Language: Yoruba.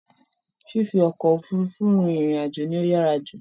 Fífi ọkọ̀ Òfurufú rin ìrìn àjò ló yàrá jù